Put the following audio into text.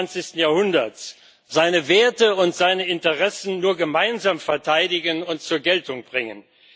21. Jahrhunderts seine Werte und seine Interessen nur gemeinsam verteidigen und zur Geltung bringen.